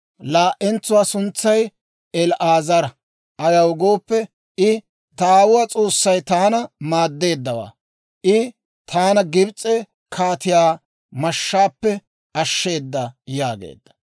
Laa"entsuwaa suntsay El"aazara; ayaw gooppe, I, «Ta aawuwaa S'oossay taana maaddeeddawaa; I taana Gibs'e kaatiyaa mashshaappe ashsheeda» yaageedda.